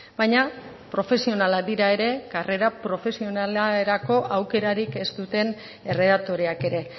baina profesionalak dira ere karrera profesionalerako aukerarik ez duten erredaktoreak ere